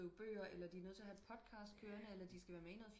Skrive bøger eller de er nødt til at have en podcast kørende eller skal være med i noget